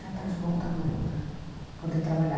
Já está de bom tamanho para poder trabalhar.